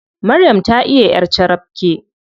Maryam ta iya ƴar carabke.